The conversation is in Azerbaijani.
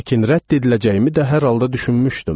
Lakin rədd ediləcəyimi də hər halda düşünmüşdüm.